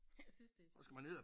Jeg synes det er